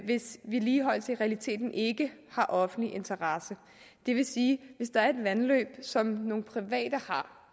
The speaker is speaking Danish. hvis vedligeholdelse i realiteten ikke har offentlig interesse det vil sige at hvis der er et vandløb som nogle private har